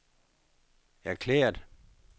erklæret